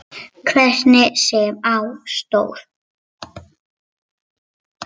Hvernig sem á stóð.